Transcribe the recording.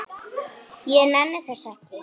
Ég næ þessu ekki.